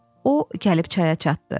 O gəlib çaya çatdı.